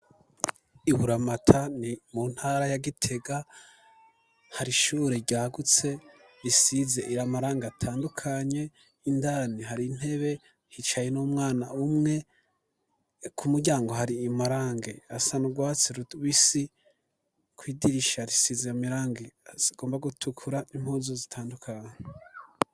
Iburamatane mu ntara ya Gitega hari ishure ryagutse risize amarangi atandukanye indani hari intebe hicaye n'umwana umwe ku muryango hari amarange asa n'urwatsi rubisi kw'idirisha risiza amarangi agomba gutukura n'impunzu zitandukanye.